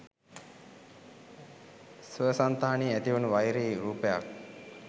ස්වසන්තානයේ ඇති වුණු වෛරී රූපයක්